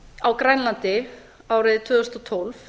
á grænlandi árið tvö þúsund og tólf